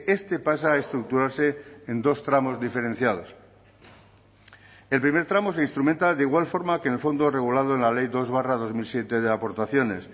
este pasa a estructurarse en dos tramos diferenciados el primer tramo se instrumenta de igual forma que en el fondo regulado en la ley dos barra dos mil siete de aportaciones